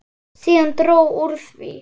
Síðan dró úr því.